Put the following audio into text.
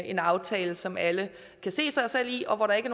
en aftale som alle kan se sig selv i og hvor der ikke